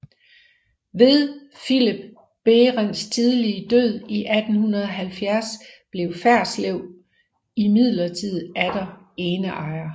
Ved Philip Berendts tidlige død i 1870 blev Ferslew imidlertid atter eneejer